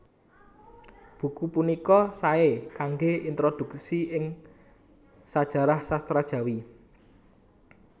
Buku punika saé kanggé introdhuksi ing sajarah sastra Jawi